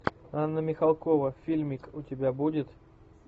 анна михалкова фильмик у тебя будет